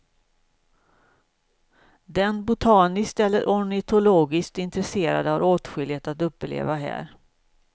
Den botaniskt eller ornitologiskt intresserade har åtskilligt att uppleva här.